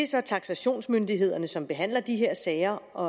så taksationsmyndighederne som behandler de her sager og